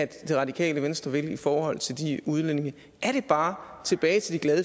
det radikale venstre vil i forhold til de udlændinge er det bare tilbage til de glade